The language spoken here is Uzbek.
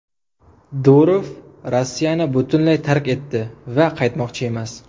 Durov Rossiyani butunlay tark etdi va qaytmoqchi emas.